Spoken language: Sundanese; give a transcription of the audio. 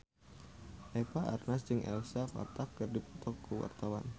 Eva Arnaz jeung Elsa Pataky keur dipoto ku wartawan